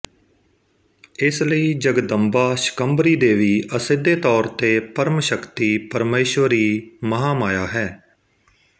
ਇਸਲਈ ਜਗਦੰਬਾ ਸ਼ਕੰਭਰੀ ਦੇਵੀ ਅਸਿੱਧੇ ਤੌਰ ਤੇ ਪਰਮ ਸ਼ਕਤੀ ਪਰਮਸ਼ਵਰੀ ਮਹਾਮਾਯ ਹੈ